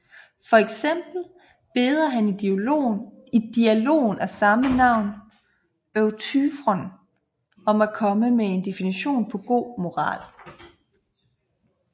For eksempel beder han i dialogen af samme navn Euthyfron om at komme med en definition på god moral